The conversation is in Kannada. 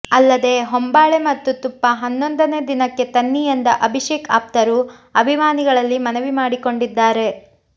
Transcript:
ಅಲ್ಲದೇ ಹೊಂಬಾಳೆ ಮತ್ತು ತುಪ್ಪ ಹನ್ನೊಂದನೇ ದಿನಕ್ಕೆ ತನ್ನಿ ಎಂದ ಅಭಿಷೇಕ್ ಆಪ್ತರು ಅಭಿಮಾನಿಗಳಲ್ಲಿ ಮನವಿ ಮಾಡಿಕೊಂಡಿದ್ದಾರೆ